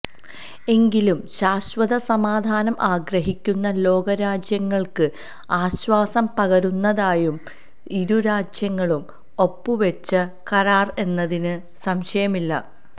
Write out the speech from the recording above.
എങ്കിലും ശാശ്വത സമാധാനം ആഗ്രഹിക്കുന്ന ലോകരാജ്യങ്ങള്ക്ക് ആശ്വാസം പകരുന്നതായി ഇരുരാജ്യങ്ങളും ഒപ്പുവെച്ച കരാര് എന്നതിന് സംശയമില്ല